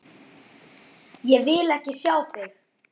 Ég vil ekki sjá þig!